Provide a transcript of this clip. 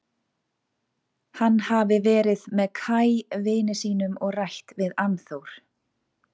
Hann hafi verið með Kaj vini sínum og rætt við Annþór.